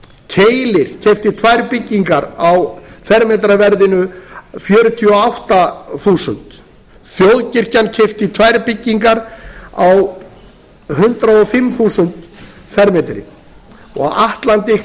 keilir keypti tvær byggingar á fermetraverðinu fjörutíu og átta þúsund þjóðkirkjan keypti tvær byggingar á hundrað og fimm þúsund fermetrann og atlantic